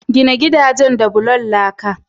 Gina gidajen da bulan laka.